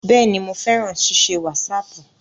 Bẹ́ẹ̀ni, mo fẹ́ràn ṣíṣe wásaàpù